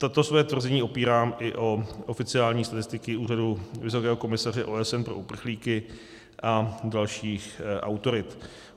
Toto své tvrzení opírám i o oficiální statistiky Úřadu Vysokého komisaře OSN pro uprchlíky a dalších autorit.